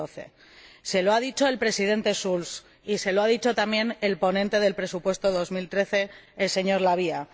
2012. Se lo ha dicho el Presidente Schulz y se lo ha dicho también el ponente del presupuesto 2013, el señor La Via.